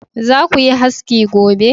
Za ku yi haski gobe!